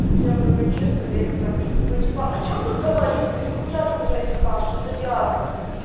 я говорю честно я их пропью ну типа о чем тут говорить что нихуя тут уже не скажешь это диагноз